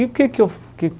E por que que